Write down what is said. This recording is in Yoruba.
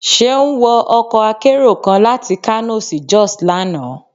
seun wọ ọkọ akerò kán latí kano sí jos lana.